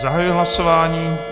Zahajuji hlasování.